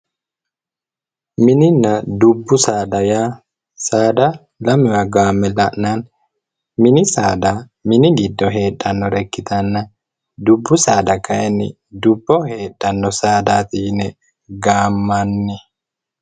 Mininna dubbu saada yaa saada lamewa gaamme la'nanni. Mini saada mini giddo heedhannore ikkitanna, dubbu saada kayinni duubboho heedhanno saadaati yine gaammanni.